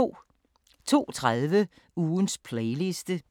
02:30: Ugens playliste